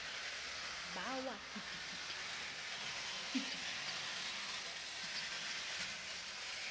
ba wa kitikiti kitikiti kitikiti